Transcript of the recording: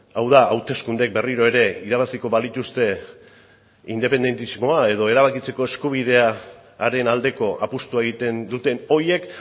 hau da hauteskundek berriro ere irabaziko balituzte independentismoa edo erabakitzeko eskubidearen aldeko apustua egiten duten horiek